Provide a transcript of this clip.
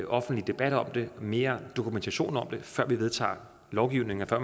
offentlig debat om det mere dokumentation om det før vi vedtager lovgivning og før